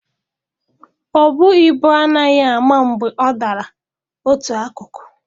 Ọbu ibu anaghị ama mgbe ọ dalara otu akụkụ.